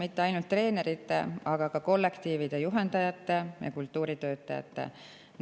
Mitte ainult treenerite, aga ka kollektiivide juhendajate ja kultuuritöötajate palk.